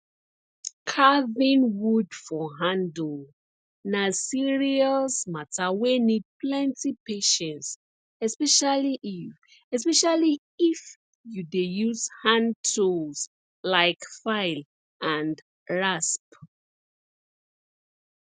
carving wood for handle na serious matter wey need plenti patience especially if especially if you dey use hand tools like file and rasp